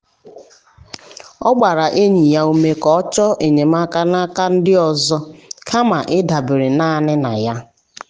ọ gbaara enyi ya ume ka o chọọ enyemaka n’aka ndị ọzọ kama ịdabere naanị na ya.